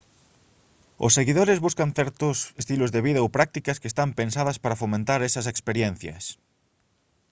os seguidores buscan certos estilos de vida ou prácticas que están pensadas para fomentar esas experiencias